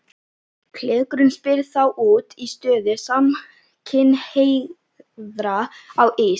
Klerkurinn spyr þá út í stöðu samkynhneigðra á Ís